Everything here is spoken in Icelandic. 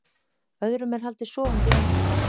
Öðrum er haldið sofandi í öndunarvél